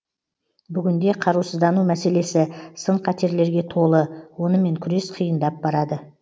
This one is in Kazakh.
бүгінде қарусыздану мәселесі сын қатерлерге толы онымен күрес қиындап барады